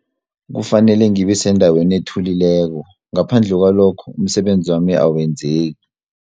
Kufanele ngibe sendaweni ethulileko ngaphandle kwalokho umsebenzi wami awenzeki.